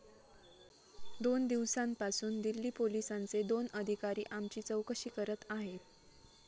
दोन दिवसांपासून दिल्ली पोलीसांचे दोन अधिकारी आमची चौकशी करत आहेत.